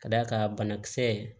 Ka d'a kan banakisɛ